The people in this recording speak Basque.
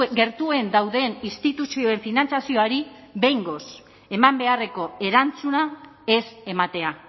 gertuen dauden instituzioen finantzazioari behingoz eman beharreko erantzuna ez ematea